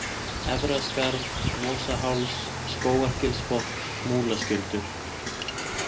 Efra-Skarð, Mosaháls, Skógargilsbotn, Múlaskjöldur